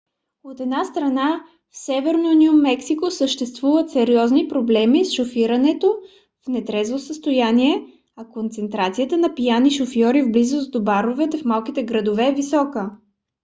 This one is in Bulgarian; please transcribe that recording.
от една страна в северно ню мексико съществуват сериозни проблеми с шофирането в нетрезво състояние а концентрацията на пияни шофьори в близост до баровете в малките градове е висока